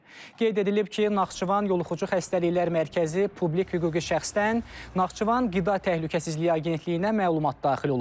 Qeyd edilib ki, Naxçıvan yoluxucu xəstəliklər mərkəzi publik hüquqi şəxsdən Naxçıvan Qida Təhlükəsizliyi Agentliyinə məlumat daxil olub.